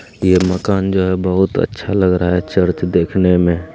ये मकान जो है बहुत अच्छा लग रहा है चर्च देखने में --